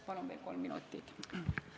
Palun veel kolm minutit!